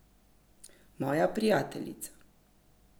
Moja prijateljica.